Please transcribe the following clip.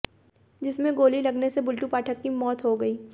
जिस में गोली लगने से बुलटू पाठक की मौत हो गई